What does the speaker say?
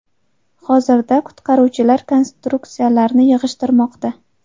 Hozirda qutqaruvchilar konstruksiyalarni yig‘ishtirmoqda.